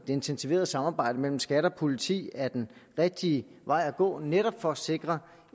intensiverede samarbejde mellem skat og politi er den rigtige vej at gå netop for at sikre